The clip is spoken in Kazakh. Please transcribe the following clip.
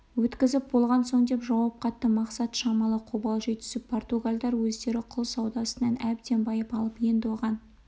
өткізіп болған соң деп жауап қатты мақсат шамалы қобалжи түсіп португалдар өздері құл саудасынан әбден байып алып енді оған